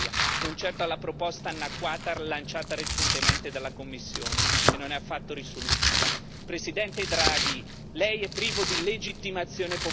L'unica soluzione per uscirne è tornare ad una reale e netta separazione bancaria, non certo alla proposta annacquata rilanciata recentemente dalla Commissione, che non